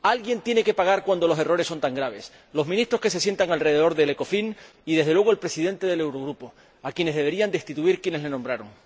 Alguien tiene que pagar cuando los errores son tan graves los ministros que se sientan alrededor del Ecofin y, desde luego, el presidente del Eurogrupo, a quienes deberían destituir quienes les nombraron.